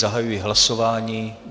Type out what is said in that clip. Zahajuji hlasování.